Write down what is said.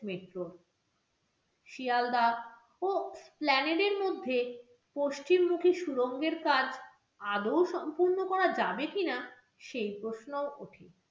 metro Sealdah ও মধ্যে পশ্চিমমুখী সুরঙ্গের কাজ আদৌ সম্পন্ন করা যাবে কিনা, সেই প্রশ্নও উঠেছে।